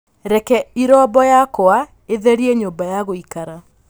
Reke irombo yakwa ĩtherie nyũmba ya gũikara